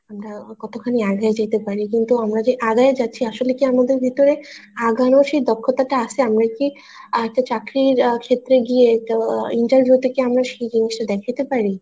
আমরা কতখানি আগায়ে যেতে পারি কিন্তু আমরা যে আগায়ে যাচ্ছি আসলে কি আমাদের ভেতরে আগানোর সে দক্ষতা কি আছে আমরা কি আরেকটা চাকরির ক্ষেত্রে গিয়ে তো আহ দেখায়তে পারি